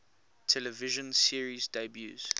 television series debuts